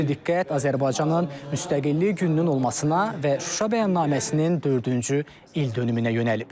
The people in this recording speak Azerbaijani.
Xüsusi diqqət Azərbaycanın Müstəqillik gününün olmasına və Şuşa bəyannaməsinin dördüncü ildönümünə yönəlib.